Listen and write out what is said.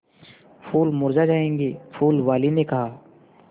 फूल मुरझा जायेंगे फूल वाली ने कहा